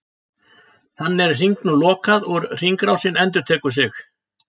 Þannig er hringnum lokað og hringrásin endurtekur sig.